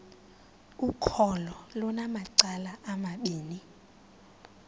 ukholo lunamacala amabini